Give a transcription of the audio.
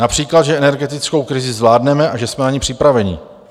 Například že energetickou krizi zvládneme a že jsme na ni připraveni.